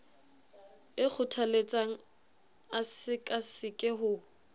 e kgothaletsang a sekaseke ho